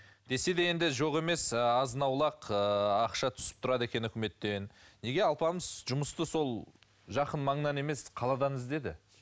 десе де енді жоқ емес ы азын аулақ ыыы ақша түсіп тұрады екен үкіметтен неге алпамыс жұмысты сол жақын маңнан емес қаладан іздеді